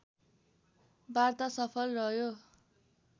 वार्ता सफल रह्यो